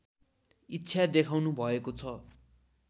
इच्छा देखाउनुभएको छ